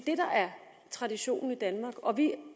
traditionen i danmark og vi